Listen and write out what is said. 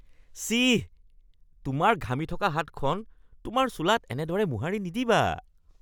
চিঃ। তোমাৰ ঘামি থকা হাতখন তোমাৰ চোলাত এনেদৰে মোহাৰি নিদিবা।